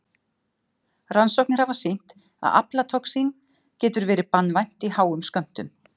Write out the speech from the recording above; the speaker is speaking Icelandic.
Rannsóknir hafa sýnt að aflatoxín getur verið banvænt í háum skömmtum.